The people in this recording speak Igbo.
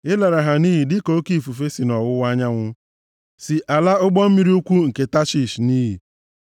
Ị lara ha nʼiyi dịka oke ifufe si nʼọwụwa anyanwụ si ala ụgbọ mmiri ukwuu nke Tashish nʼiyi.